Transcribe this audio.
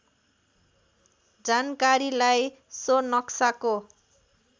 जानकारीलाई सो नक्साको